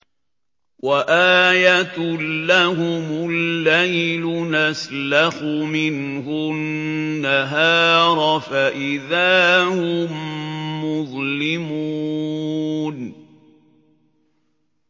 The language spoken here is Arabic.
وَآيَةٌ لَّهُمُ اللَّيْلُ نَسْلَخُ مِنْهُ النَّهَارَ فَإِذَا هُم مُّظْلِمُونَ